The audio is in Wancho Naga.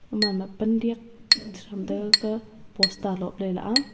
gaman ma pandiyak chitham taiga gakah bosta lopley a.